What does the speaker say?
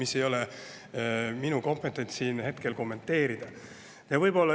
Aga ei ole minu kompetents siin hetkel neid kommenteerida.